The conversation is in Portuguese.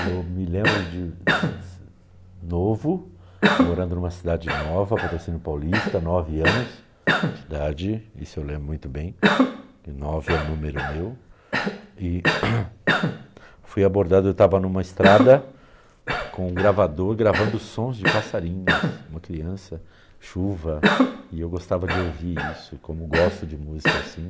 Eu me lembro de novo, morando em uma cidade nova, Patrocínio Paulista, nove anos de idade, isso eu lembro muito bem, nove é o número meu, e fui abordado, eu estava em uma estrada com um gravador gravando sons de passarinhos, uma criança, chuva, e eu gostava de ouvir isso, como gosto de música assim.